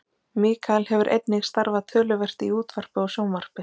mikael hefur einnig starfað töluvert í útvarpi og sjónvarpi